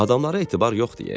Adamlara etibar yoxdur, e.